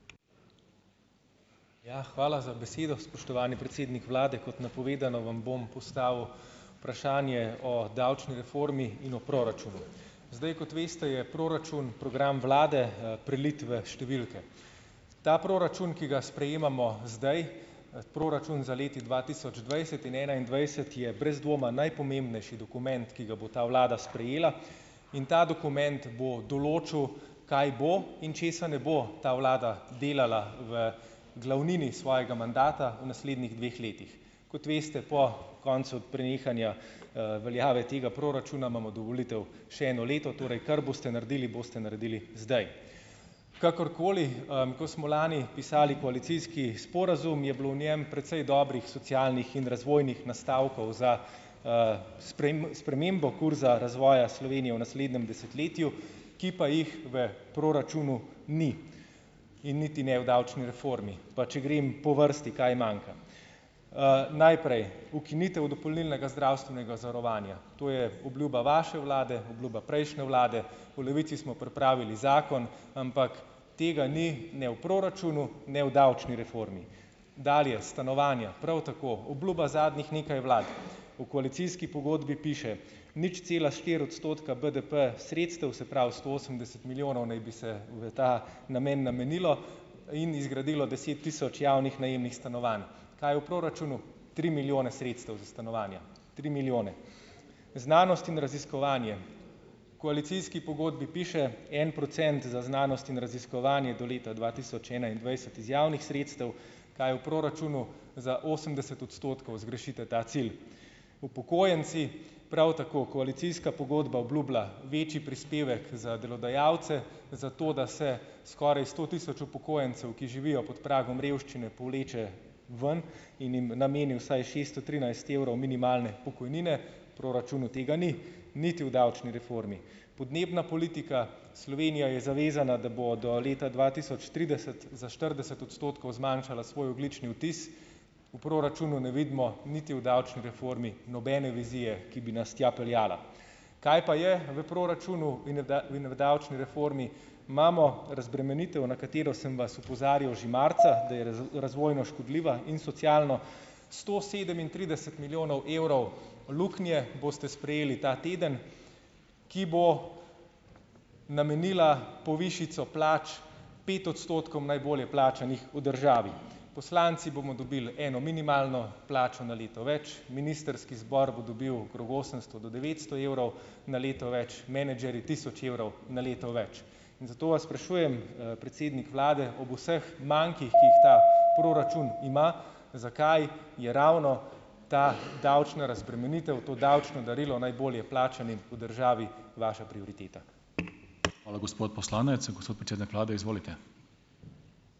Ja, hvala za besedo, spoštovani predsednik vlade. Kot napovedano , vam bom postavil vprašanje o davčni reformi in o proračunu. Zdaj, kot veste, je proračun program vlade, prelit v številke. Ta proračun, ki ga sprejemamo zdaj, proračun za leti dva tisoč dvajset in enaindvajset, ki je brez dvoma najpomembnejši dokument, ki ga bo ta vlada sprejela in ta dokument bo določil kaj bo in česa ne bo ta vlada delala v glavnini svojega mandata naslednjih dveh letih. Kot veste, po koncu prenehanja, veljave tega proračuna imamo do volitev še eno leto, torej kar boste naredili, boste naredili zdaj. Kakorkoli, ko smo lani pisali koalicijski sporazum, je bilo v njem precej dobrih socialnih in razvojnih nastavkov za, spremembo kurza razvoja Slovenije v naslednjem desetletju, ki pa jih v proračunu ni. In niti ne v davčni reformi. Pa če grem po vrsti, kaj manjka? najprej, ukinitev dopolnilnega zdravstvenega zavarovanja. To je obljuba vaše vlade, obljuba prejšnje vlade, v Levici smo pripravili zakon, ampak tega ni ne v proračunu ne v davčni reformi. Dalje, stanovanja. Prav tako. Obljuba zadnjih nekaj vlad . V koalicijski pogodbi piše: "Nič cela štiri odstotka BDP sredstev, se prav sto osemdeset milijonov naj bi se v ta namen namenilo in zgradilo deset tisoč javnih najemnih stanovanj. Kaj v proračunu? Tri milijone sredstev za stanovanja. Tri milijone. Znanost in raziskovanje. Koalicijski pogodbi piše: en procent za znanost in raziskovanje do leta dva tisoč enaindvajset iz javnih sredstev. Kaj v proračunu? Za osemdeset odstotkov zgrešiti ta cilj. Upokojenci prav tako. Koalicijska pogodba obljubila večji prispevek za delodajalce, zato da se skoraj sto tisoč upokojencev, ki živijo pod pragom revščine, povleče ven in jim nameni vsaj šesto trinajst evrov minimalne pokojnine. V proračunu tega ni. Niti v davčni reformi. Podnebna politika. Slovenija je zavezana, da bo do leta dva tisoč trideset za štirideset odstotkov zmanjšala svoj ogljični odtis. V proračunu ne vidimo, niti v davčni reformi nobene vizije, ki bi nas tja peljala. Kaj pa je v proračunu in v in v davčni reformi? Imamo razbremenitev, na katero sem vas opozarjal že marca , da je razvojno škodljiva in socialno. Sto sedemintrideset milijonov evrov luknje boste sprejeli ta teden, ki bo namenila povišico plač pet odstotkom najbolje plačanih v državi. Poslanci bomo dobili eno minimalno plačo na leto več, ministrski zbor bo dobil okrog osemsto do devetsto evrov na leto več, menedžerji tisoč evrov na leto več. In zato vas sprašujem, predsednik vlade, ob vseh mankih, ki jih ta proračun ima, zakaj je ravno ta davčna razbremenitev, to davčno darilo najbolje plačanim v državi, vaša prioriteta? Hvala, gospod poslanec. Gospod predsednik vlade, izvolite.